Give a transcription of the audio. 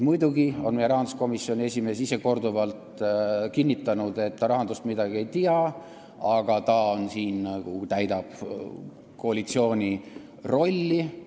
Muidugi on rahanduskomisjoni esimees korduvalt kinnitanud, et ta rahandusest midagi ei tea, aga ta täidab siin koalitsiooni antud rolli.